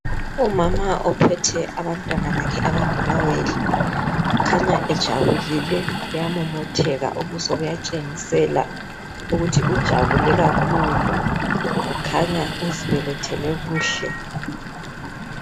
Umama ophethe abantwana bakhe abangamawele. Kukhanya ejabulile uyamomotheka. Ubuso buyatshengisela ukuthi ujabulile kakhulu. Kukhanya uzibelethele kuhle.